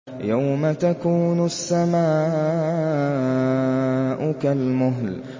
يَوْمَ تَكُونُ السَّمَاءُ كَالْمُهْلِ